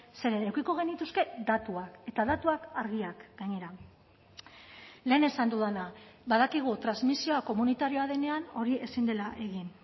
zeren edukiko genituzke datuak eta datuak argiak gainera lehen esan dudana badakigu transmisioa komunitarioa denean hori ezin dela egin